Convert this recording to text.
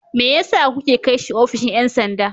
Me yasa kuke kai shi ofishin 'yan sanda?